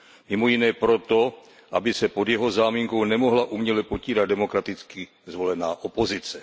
Mimo jiné proto, aby se pod jeho záminkou nemohla uměle potírat demokraticky zvolená opozice.